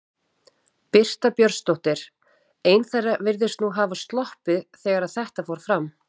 Birta Björnsdóttir: Ein þeirra virðist nú hafa sloppið þegar að þetta fór fram?